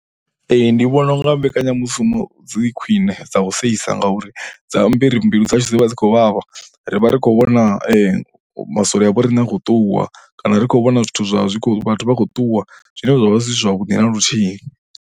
Ee, ndi vhona u nga mbekanyamushumo dzi khwiṋe dza u seisa ngauri dzi amba uri mbilu dzashu dzi vha dzi khou vhavha. Ri vha ri khou vhona masole a vho riṋe a khou ṱuwa kana ri khou vhona zwithu zwa zwi khou vhathu vha khou ṱuwa zwine zwa vha zwi si zwavhuḓi na luthihi.